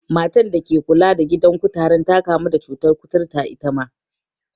Matan da ke kula da gidan kutaren ta kamu da cutar kuturta itama.